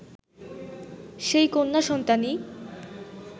সেই কন্যা সন্তানই